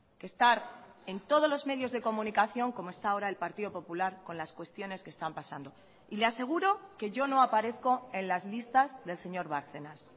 que estar en todos los medios de comunicación como está ahora el partido popular con las cuestiones que están pasando y le aseguro que yo no aparezco en las listas del señor bárcenas